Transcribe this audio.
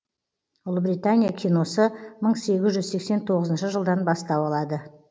ұлыбритания киносы мың тоғыз жүз сексен тоғызыншы жылдан бастау алады